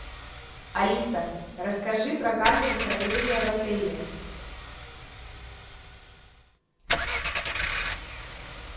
алиса расскажи про камеру хранения в отеле